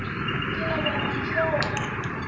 ke leboga mantšu ao a